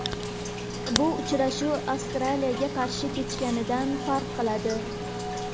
Bu uchrashuv Avstraliyaga qarshi kechganidan farq qiladi.